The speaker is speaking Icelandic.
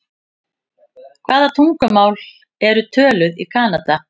Hvaða tungumál eru töluð í Kanada?